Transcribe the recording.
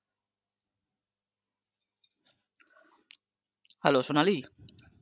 hello Sonali